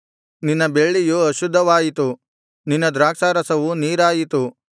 ನಿನ್ನ ಬೆಳ್ಳಿಯು ಅಶುದ್ಧವಾಯಿತು ನಿನ್ನ ದ್ರಾಕ್ಷಾರಸವು ನೀರಾಯಿತು